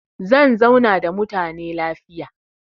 Zan zauna da mutane lafiya.